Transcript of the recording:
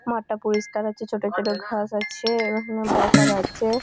মাঠটা পরিষ্কার আছে ছোট ছোট ঘাস আছে এবং এখানে বসার আছে --